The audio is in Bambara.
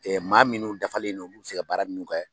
maa minnu dafalen olu bi se ka baara minnu kɛ